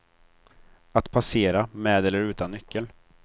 Att passera, med eller utan nyckel.